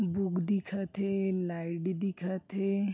Book दिखत हे light दिखत हे।